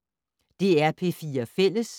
DR P4 Fælles